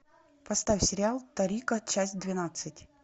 поставь сериал торико часть двенадцать